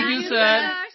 thank you sir